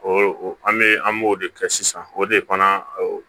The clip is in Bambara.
an bɛ an b'o de kɛ sisan o de fana